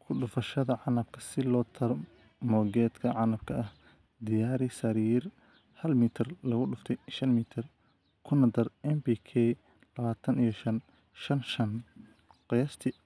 Ku dhufashada Canabka Si loo tarmo geedka canabka ah, diyaari sariir, hal mitar lugudufte shan mitar, kuna dar NPK labatan iyo shan:shan:shan, qiyaastii